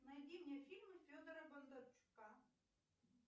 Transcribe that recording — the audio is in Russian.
найди мне фильмы федора бондарчука